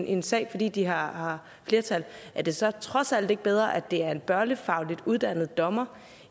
en sag fordi de har flertal er det så trods alt ikke bedre at det er en børnefagligt uddannet dommer